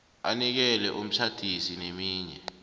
anikele umtjhadisi neminye